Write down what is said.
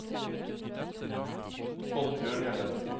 Oddbjørn Hjelle